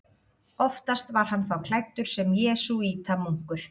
Oftast var hann þá klæddur sem jesúítamunkur.